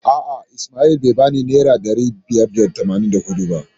A'a Ismail bai bani naira ɗari biyar da tamanin da huɗu ba.